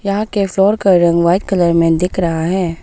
यहां के फ्लोर का रंग व्हाइट कलर में दिख रहा है।